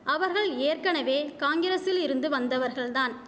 அவர்கள் ஏற்கனவே காங்கிரசில் இருந்து வந்தவர்கள்தான்